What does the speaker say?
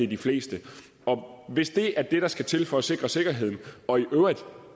de fleste hvis det er det der skal til for at sikre sikkerheden og i øvrigt